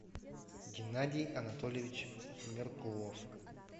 геннадий анатольевич меркулов